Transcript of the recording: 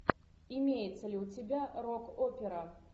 имеется ли у тебя рок опера